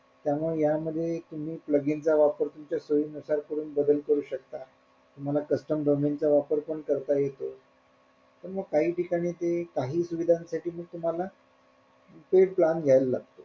त्यामुळे यामध्ये तुम्ही plug in चा वापर तुमच्या सोयी नुसार करून बदल करू शकता तुम्हाला custom domain चा वापर पण करता येतो पण मग काही ठिकाणी ते काही सुविधांसाठी मी तुम्हाला paid plan घेयला लागतो.